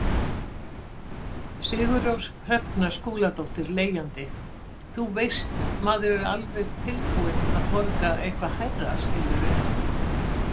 Sigurrós Hrefna Skúladóttir, leigjandi: Þú veist, maður er alveg tilbúin að borga eitthvað hærra skilurðu?